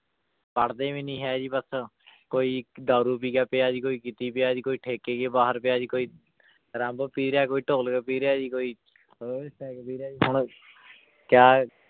ਪੜ੍ਹਦੇ ਵੀ ਨੀ ਹੈ ਜੀ ਬਸ ਕੋਈ ਦਾਰੂ ਪੀ ਕੇ ਪਿਆ ਜੀ ਕੋਈ ਕਿਤੇ ਪਿਆ ਜੀ ਕੋਈ ਠੇਕੇ ਕੇ ਬਾਹਰ ਪਿਆ ਜੀ ਕੋਈ ਰੰਬ ਪੀ ਰਿਹਾ ਕੋਈ ਢੋਲਕ ਪੀ ਰਿਹਾ ਜੀ ਕੋਈ ਪੀ ਰਿਹਾ ਜੀ ਹੁਣ ਕਿਆ